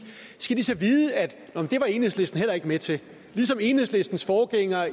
skal de så vide at det var enhedslisten heller ikke med til ligesom enhedslistens forgængere